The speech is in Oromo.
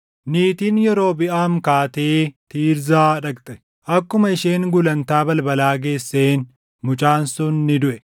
Niitiin Yerobiʼaam kaatee Tiirzaa dhaqxe. Akkuma isheen gulantaa balbalaa geesseen mucaan sun ni duʼe.